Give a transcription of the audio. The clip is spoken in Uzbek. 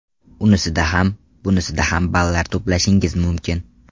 Unisida ham, bunisida ham ballar to‘plashingiz mumkin.